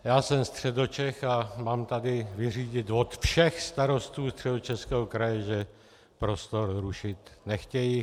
Já jsem Středočech a mám tady vyřídit od všech starostů Středočeského kraje, že prostor rušit nechtějí.